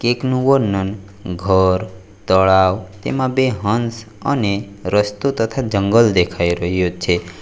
કેકનું વર્ણન ઘર તળાવ તેમાં બે હંસ અને રસ્તો તથા જંગલ દેખાય રહ્યું છે.